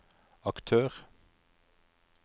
aktør